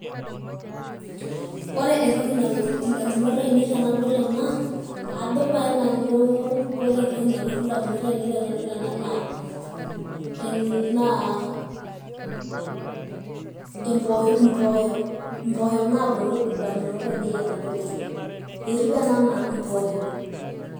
Ore entoki nalotu indamunot ainei tenadol ena, ajo paye nanu naa impoosho. ajo nanu impoosho.